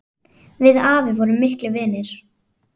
Við afi vorum miklir vinir.